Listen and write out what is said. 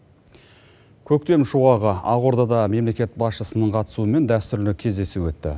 көктем шуағы ақордада мемлекет басшысының қатысуымен дәстүрлі кездесу өтті